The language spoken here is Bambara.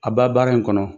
A b'a baara in kɔnɔ